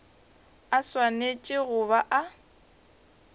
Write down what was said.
a swanetše go ba a